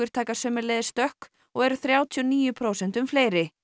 taka sömuleiðis stökk og eru þrjátíu og níu prósentum fleiri